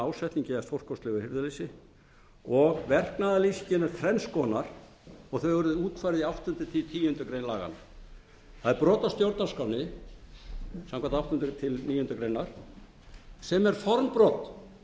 ásetningi eða stórkostlegu hirðuleysi og verknaðarlýsingin er þrenn konar og þau eru útfærð í áttunda til tíundu grein laganna það er brot á stjórnarskránni samkvæmt áttundu til tíundu greinar síðan er formbrot það að